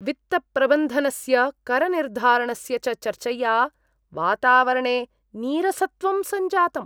वित्तप्रबन्धनस्य, करनिर्धारणस्य च चर्चया वातावरणे नीरसत्वं सञ्जातम्।